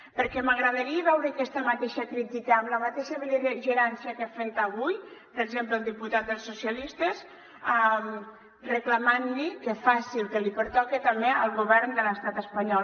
perquè m’agradaria veure aquesta mateixa crítica amb la mateixa bel·ligerància que ha fet avui per exemple el diputat dels socialistes reclamant que faci el que li pertoca també al govern de l’estat espanyol